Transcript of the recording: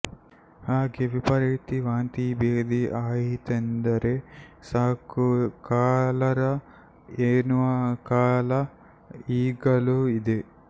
ಹಾಗೇ ವಿಪರೀತ ವಾಂತಿ ಭೇದಿ ಆಯಿತೆಂದರೆ ಸಾಕು ಕಾಲರ ಎನ್ನುವ ಕಾಲ ಈಗಲೂ ಇದೆ